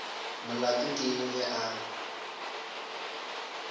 molato ke eng ge a